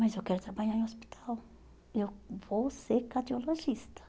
Mas eu quero trabalhar em hospital, eu vou ser cardiologista.